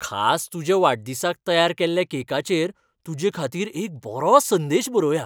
खास तुज्या वाडदिसाक तयार केल्ल्या केकाचेर तुजेखातीर एक बरो संदेश बरोवया.